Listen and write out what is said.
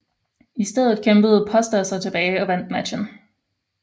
I stedet kæmpede Pósta sig tilbage og vandt matchen